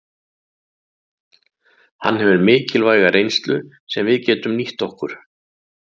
Hann hefur mikilvæga reynslu sem við getum nýtt okkur.